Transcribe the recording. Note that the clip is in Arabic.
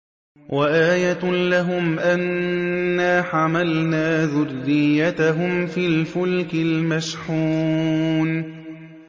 وَآيَةٌ لَّهُمْ أَنَّا حَمَلْنَا ذُرِّيَّتَهُمْ فِي الْفُلْكِ الْمَشْحُونِ